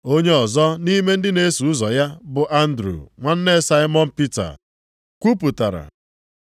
Onye ọzọ nʼime ndị na-eso ụzọ ya bụ Andru, nwanne Saimọn Pita, kwupụtara,